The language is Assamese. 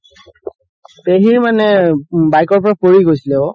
পেহিৰ মানে bike ৰ পৰা পৰি গৈছিলে ঔ